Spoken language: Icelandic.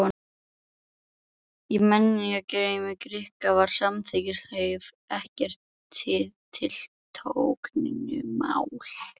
Í menningarheimi Grikkja var samkynhneigð ekkert tiltökumál.